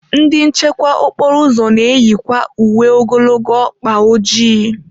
Ndị nchekwa okporo ụzọ na-eyikwa uwe ogologo ọkpa ojii.